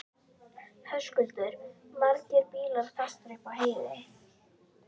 Höskuldur: Margir bílar fastir upp á heiði?